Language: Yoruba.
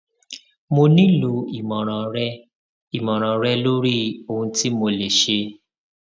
mo nílò ìmọràn rẹ ìmọràn rẹ lórí ohun tí mo lè ṣe